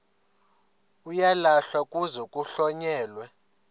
uyalahlwa kuze kuhlonyelwe